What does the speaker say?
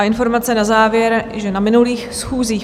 A informace na závěr, že na minulých schůzích